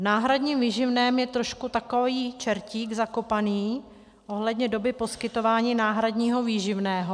V náhradním výživném je trošku takový čertík zakopaný ohledně doby poskytování náhradního výživného.